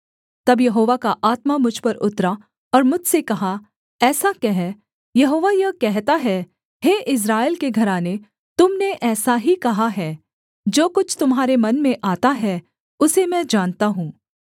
तब यहोवा का आत्मा मुझ पर उतरा और मुझसे कहा ऐसा कह यहोवा यह कहता है हे इस्राएल के घराने तुम ने ऐसा ही कहा है जो कुछ तुम्हारे मन में आता है उसे मैं जानता हूँ